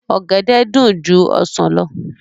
Ọ̀gẹ̀dẹ̀ dùn ju ọsàn lọ